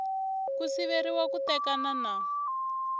ku siveriwa ku tekana na